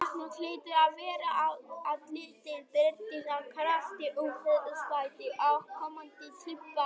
Krafan hlýtur að vera á að liðið berjist af krafti um Evrópusæti á komandi tímabili.